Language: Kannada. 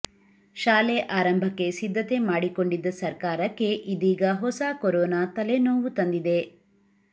ಶಾಲೆ ಆರಂಭಕ್ಕೆ ಸಿದ್ಧತೆ ಮಾಡಿಕೊಂಡಿದ್ದ ಸರ್ಕಾರಕ್ಕೆ ಇದೀಗ ಹೊಸ ಕೊರೋನಾ ತಲೆನೋವು ತಂದಿದೆ